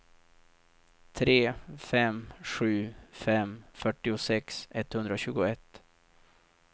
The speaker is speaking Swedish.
tre fem sju fem fyrtiosex etthundratjugoett